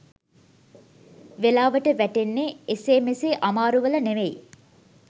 වෙලාවට වැටෙන්නේ එසේ මෙසේ අමාරු වල නෙමෙයි